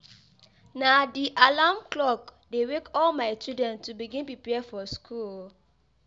Na di alarm clock dey wake all my children to begin prepare for school.